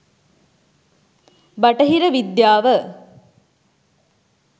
"බටහිර විද්‍යාව"